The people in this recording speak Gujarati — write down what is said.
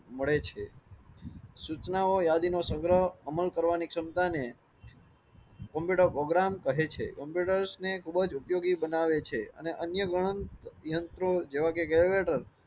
મળે છે સુચનાઓ યાદી નો સંગ્રહ કરવાની ક્ષમતા ને. કમ્પ્યુટર પ્રોગ્રામ કહે છે, કમ્પ્યુટર્સને ખુબજ ઉપયોગી બનાવે છે અને અન્ય ગણન યંત્રો જેવા કે લેટર.